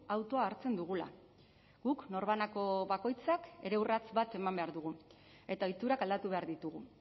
autoa hartzen dugula guk norbanako bakoitzak ere urrats bat eman behar dugu eta ohiturak aldatu behar ditugu